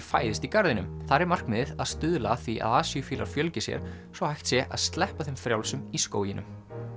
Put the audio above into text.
fæðist í garðinum þar er markmiðið að stuðla að því að asíufílar fjölgi sér svo hægt sé að sleppa þeim frjálsum í skóginum